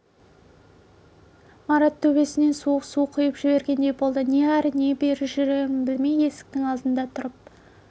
марат төбесінен суық су құйып жібергендей болды не ары не бері жүрерін білмей есіктің алдында тұрып